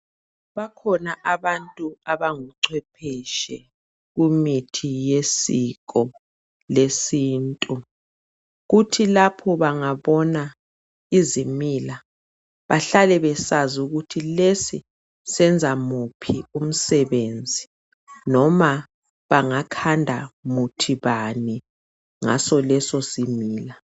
Bakhona abantu abangucephetshwe kumithi yesiko lesintu kuthi lapho bengabona izimila behlale besazi ukuthi lesi senzamuphi umsebenzi noma bangakhanda muthi bani ngasoleso simila.